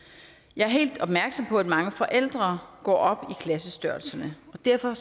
jeg er helt opmærksom på at mange forældre går op i klassestørrelserne og derfor